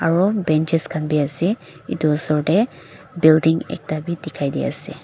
aru benches khan bi ase etu oser te building ekta bi dikha di ase.